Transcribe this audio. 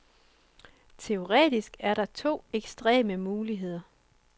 Teoretisk er der to ekstreme muligheder.